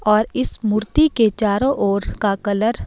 और इस मूर्ति के चारों ओर का कलर --